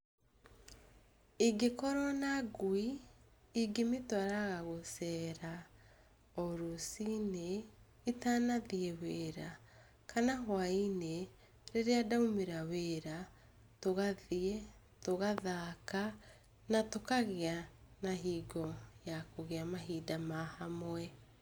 Ĩngĩkorwo na ngui, ingĩmĩtwaraga gũceera o rũciinĩ ,itanathia wĩra, kana hwainĩ rĩrĩa ndamĩra wĩra, tũgathiĩ, tũgathaka na tũkagĩa na ihinda rĩa kũgĩa mahinda hamwe.